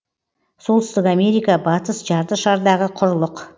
солтүстік америка батыс жарты шардағы құрлық